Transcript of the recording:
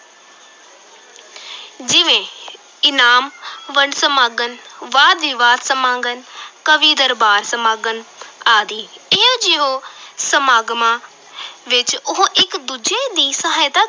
ਜਿਵੇਂ ਇਨਾਮ ਵੰਡ ਸਮਾਗਮ, ਵਾਦ-ਵਿਵਾਦ ਸਮਾਗਮ ਕਵੀ-ਦਰਬਾਰ ਸਮਾਗਮ ਆਦਿ, ਇਹੋ ਜਿਹੋ ਸਮਾਗਮਾਂ ਵਿੱਚ ਉਹ ਇਕ ਦੂਜੇ ਦੀ ਸਹਾਇਤਾ